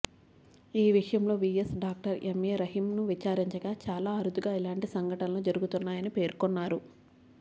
ఈ విషయంలో VAS doctor MA రహీంను విచారించగా చాలా అరుదుగా ఇలాంటి సంఘటనలు జరుగుతాయని పేర్కొన్నారు